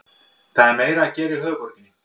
Það er meira að gera í höfuðborginni.